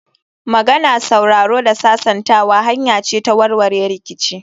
Magana, sauraro da sasantawa hanya ce ta warware rikici